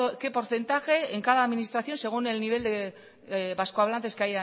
qué porcentaje en cada administración según el nivel de vasco hablantes que